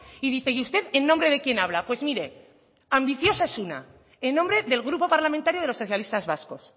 y dice y usted en nombre de quién habla pues mire ambiciosa es una en nombre del grupo parlamentario de los socialistas vascos